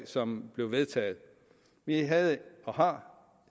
som blev vedtaget vi havde og har